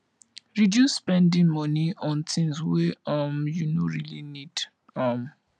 reduce spending money on things wey um you no really need um